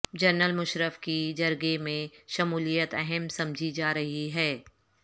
general Musharraf کی جرگے میں شمولیت اہم سمجھی جارہی ہے